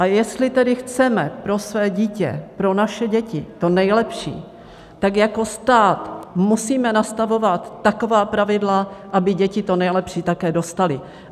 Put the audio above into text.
A jestli tedy chceme pro své dítě, pro naše děti to nejlepší, tak jako stát musíme nastavovat taková pravidla, aby děti to nejlepší také dostaly.